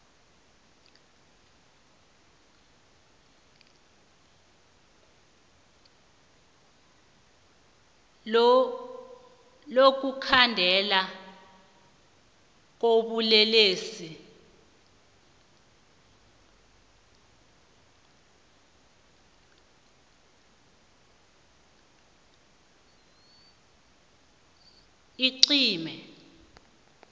lokukhandelwa kobulelesi icrime